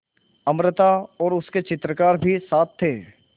अमृता और उसके चित्रकार भी साथ थे